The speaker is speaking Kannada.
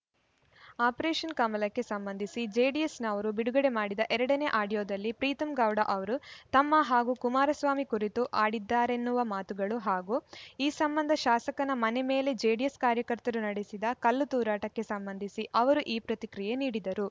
ಆಪರೇಷನ್‌ ಕಮಲಕ್ಕೆ ಸಂಬಂಧಿಸಿ ಜೆಡಿಎಸ್‌ನವರು ಬಿಡುಗಡೆ ಮಾಡಿದ ಎರಡ ನೇ ಆಡಿಯೋದಲ್ಲಿ ಪ್ರೀತಂ ಗೌಡ ಅವರು ತಮ್ಮ ಹಾಗೂ ಕುಮಾರಸ್ವಾಮಿ ಕುರಿತು ಆಡಿದ್ದಾರೆನ್ನುವ ಮಾತುಗಳು ಹಾಗೂ ಈ ಸಂಬಂಧ ಶಾಸಕನ ಮನೆ ಮೇಲೆ ಜೆಡಿಎಸ್‌ ಕಾರ್ಯಕರ್ತರು ನಡೆಸಿದ ಕಲ್ಲುತೂರಾಟಕ್ಕೆ ಸಂಬಂಧಿಸಿ ಅವರು ಈ ಪ್ರತಿಕ್ರಿಯೆ ನೀಡಿದರು